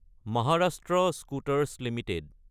Maharashtra scooters Ltd